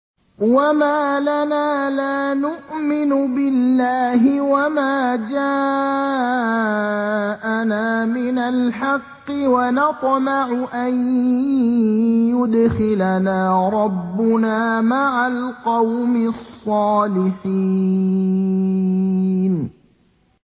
وَمَا لَنَا لَا نُؤْمِنُ بِاللَّهِ وَمَا جَاءَنَا مِنَ الْحَقِّ وَنَطْمَعُ أَن يُدْخِلَنَا رَبُّنَا مَعَ الْقَوْمِ الصَّالِحِينَ